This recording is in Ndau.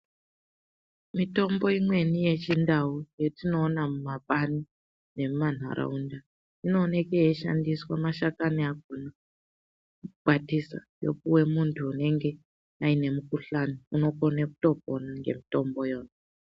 Mitombo imweni yechindau yatinoona mumapani nemumanharaunda inooneke yeishandiswe mashakani akona , kukwatisa yopiwe muntu unenge aine mikhuhlani unokone kutopona ngemitombo yo.